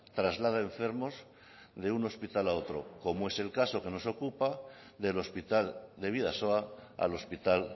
traslada enfermos de un hospital a otro como es el caso que nos ocupa del hospital de bidasoa al hospital